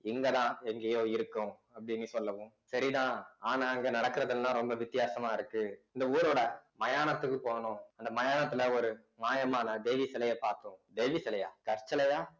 இங்கதான் எங்கேயோ இருக்கும் அப்படின்னு சொல்லவும் சரிதான் ஆனா இங்க நடக்குறது எல்லாம் ரொம்ப வித்தியாசமா இருக்கு இந்த ஊரோட மயானத்துக்கு போகணும் அந்த மயானத்துல ஒரு மாயமான தேவி சிலையை பார்த்தோம் தேவி சிலையா கற்சிலையா